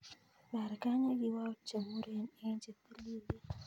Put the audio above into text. Ibarkany ok ikwou chemuren en chetililen.